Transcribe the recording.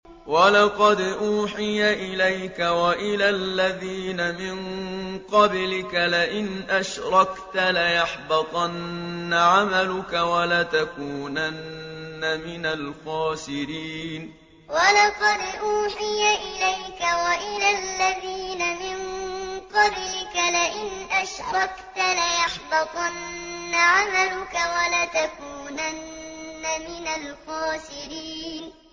وَلَقَدْ أُوحِيَ إِلَيْكَ وَإِلَى الَّذِينَ مِن قَبْلِكَ لَئِنْ أَشْرَكْتَ لَيَحْبَطَنَّ عَمَلُكَ وَلَتَكُونَنَّ مِنَ الْخَاسِرِينَ وَلَقَدْ أُوحِيَ إِلَيْكَ وَإِلَى الَّذِينَ مِن قَبْلِكَ لَئِنْ أَشْرَكْتَ لَيَحْبَطَنَّ عَمَلُكَ وَلَتَكُونَنَّ مِنَ الْخَاسِرِينَ